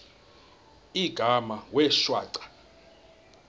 igama wee shwaca